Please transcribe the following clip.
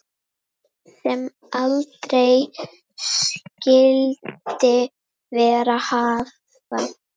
Sem aldrei skyldi verið hafa.